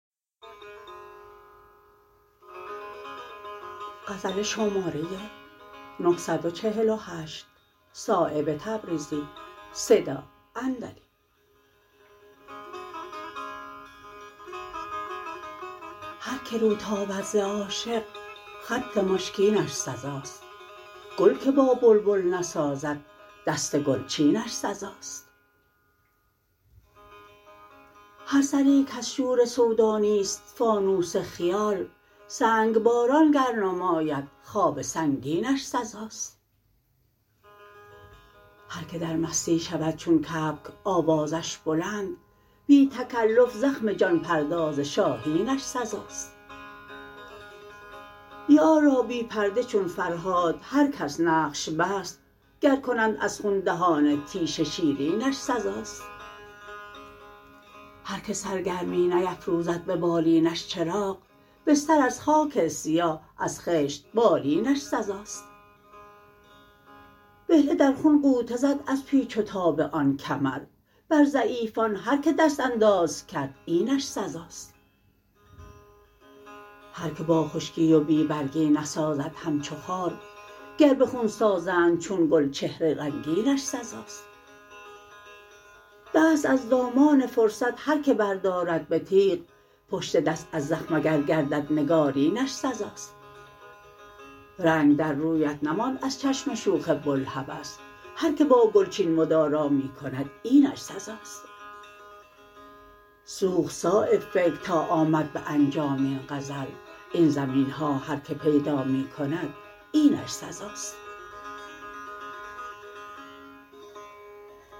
هر که رو تابد ز عاشق خط مشکینش سزاست گل که با بلبل نسازد دست گلچینش سزاست هر سری کز شور سودا نیست فانوس خیال سنگباران گر نماید خواب سنگینش سزاست هر که در مستی شود چون کبک آوازش بلند بی تکلف زخم جان پرداز شاهینش سزاست یار را بی پرده چون فرهاد هر کس نقش بست گر کنند از خون دهان تیشه شیرینش سزاست هر که سرگرمی نیفروزد به بالینش چراغ بستر از خاک سیاه از خشت بالینش سزاست بهله در خون غوطه زد از پیچ و تاب آن کمر بر ضعیفان هر که دست انداز کرد اینش سزاست هر که با خشکی و بی برگی نسازد همچو خار گر به خون سازند چون گل چهره رنگینش سزاست دست از دامان فرصت هر که بردارد به تیغ پشت دست از زخم اگر گردد نگارینش سزاست رنگ در رویت نماند از چشم شوخ بوالهوس هر که با گلچین مدارا می کند اینش سزاست سوخت صایب فکر تا آمد به انجام این غزل این زمین ها هر که پیدا می کند اینش سزاست